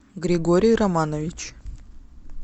григорий романович